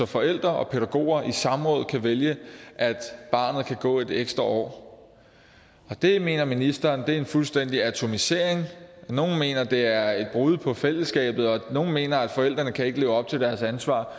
forældre og pædagoger i samråd kan vælge at barnet kan gå et ekstra år det mener ministeren er en fuldstændig atomisering nogle mener at det er et brud på fællesskabet og nogle mener at forældrene ikke kan leve op til deres ansvar